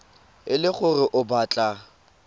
e le gore o batla